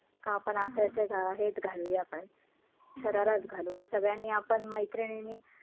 का आपण असं असं अं हेच घालूया आपण शराराचं घालू मग सगळ्यांनी आपण मैत्रिणींनी